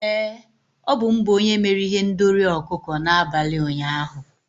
Ee, ọ bụ m bụ onye mere ihendori ọkụkọ n'abalị ụnyaahụ.